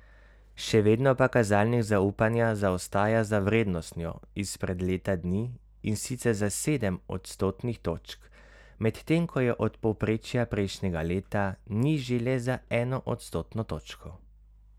Še vedno pa kazalnik zaupanja zaostaja za vrednostjo izpred leta dni, in sicer za sedem odstotnih točk, medtem ko je od povprečja prejšnjega leta nižji le za eno odstotno točko.